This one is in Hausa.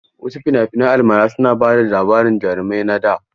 Wasu fina-finan almara suna ba da labarin jarumai na da.